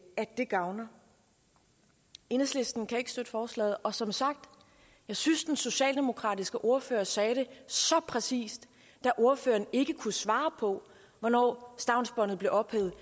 gavner enhedslisten kan ikke støtte forslaget og som sagt jeg synes den socialdemokratiske ordfører sagde det så præcist da ordføreren ikke kunne svare på hvornår stavnsbåndet blev ophævet